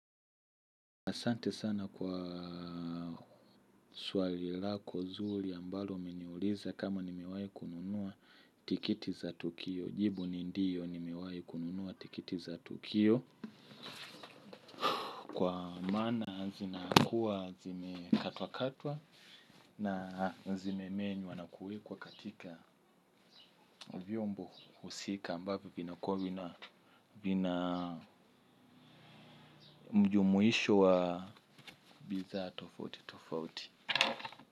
Asante sana kwa swali lako nzuri ambalo umeniuliza kama nimewahi kununuwa tiketi za tukio. Jibu ni ndiyo ni mewahi kununuwa tiketi za tukio. Kwa maana zinakuwa zime katwa katwa na zime menywa na kuwekwa katika vyombo husika ambavyo vinakuwa vina vina mjumuisho wa bidhaa tofauti tofauti.